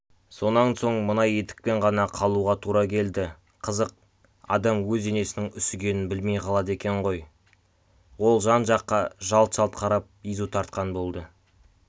сонан соң мына етікпен ғана қалуға тура келді қызық адам өз денесінің үсігенін білмей қалады екен ғой ол жан-жаққа жалт-жалт қарап езу тартқан болды